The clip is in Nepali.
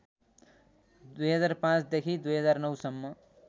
२००५ देखि २००९